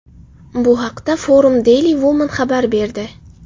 Bu haqda Forum Daily Woman xabar berdi .